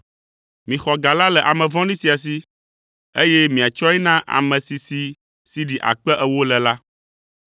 “ ‘Mixɔ ga la le ame vɔ̃ɖi sia si, eye miatsɔe na ame si si sidi akpe ewo le la,